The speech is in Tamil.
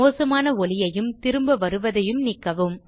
மோசமான ஒலியையும் திரும்ப வருவதையும் நீக்கவும்